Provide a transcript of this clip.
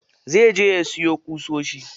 Zai je ya siyo ƙusoshi.